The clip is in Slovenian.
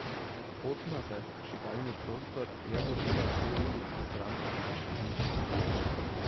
Pot na zažigalni prostor je vodila dve ulici stran od naše hiše.